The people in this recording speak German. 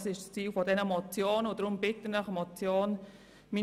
Dies ist das Ziel dieser Motionen.